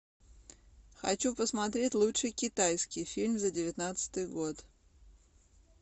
хочу посмотреть лучший китайский фильм за девятнадцатый год